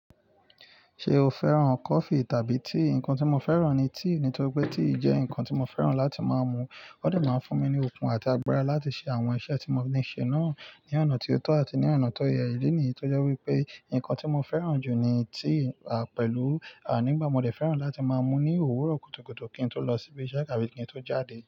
Ṣé o fẹ́ràn kọfì tàbí tíì? Ǹkan tí mo fẹ́ràn ni tíì, nítorí pé tíì jẹ́ ǹkan tí mo fẹ́ràn láti máa mu. Ó de máa ń fún mi ní okun àti agbára láti ṣe àwọn iṣẹ́ tí mo níi ṣe náà ní ọ̀nà ti ó tọ́ àti ní ọ̀nà tó yẹ. Ìdí nìyí tó jẹ́ wípé ǹkan tí mo fẹ́ràn jù ni tíì, pẹ̀lú, nígbà mo dẹ̀ fẹ́ràn láti máa mu ní òwúrọ̀ kùtùkùtù kí n tó lọ síbi iṣẹ́ tabi kí n tó jáde.